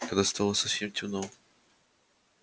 когда стало совсем темно